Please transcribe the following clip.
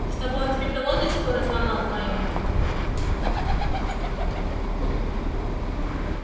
чтобы он тебе пилоточку разломал твою